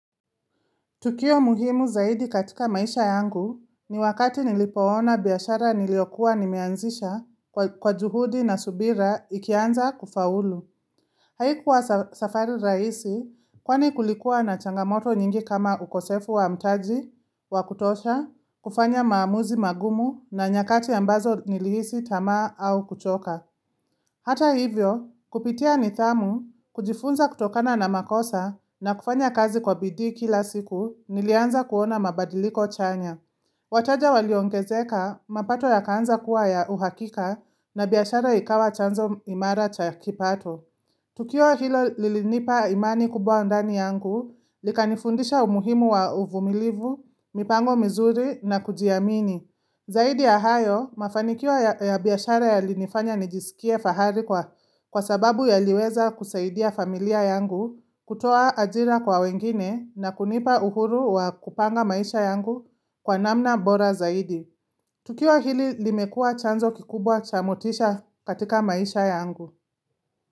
Tukio muhimu zaidi katika maisha yangu ni wakati nilipoona biashara niliyokuwa nimeanzisha kwa kwa juhudi na subira ikianza kufaulu. Haikuwa safa safari rahisi kwani kulikuwa na changamoto nyingi kama ukosefu wa mtaji wa kutosha, kufanya maamuzi magumu na nyakati ambazo nilihisi tamaa au kuchoka. Hata hivyo, kupitia nidhamu, kujifunza kutokana na makosa na kufanya kazi kwa bidii kila siku nilianza kuona mabadiliko chanya. Wataja waliongezeka mapato yakaanza kuwa ya uhakika na biashara ikawa chanzo imara cha kipato. Tukio hilo lilinipa imani kubwa ndani yangu, likanifundisha umuhimu wa uvumilivu, mipango mizuri na kujiamini. Zaidi ya hayo mafanikio ya ya biashara yalinifanya nijisikie fahari kwa kwa sababu yaliweza kusaidia familia yangu kutoa ajira kwa wengine na kunipa uhuru wa kupanga maisha yangu kwa namna bora zaidi. Tukiwa hili limekuwa chanzo kikubwa cha motisha katika maisha yangu.